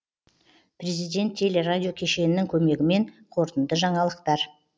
президент теле радио кешенінің көмегімен қорытынды жаңалықтар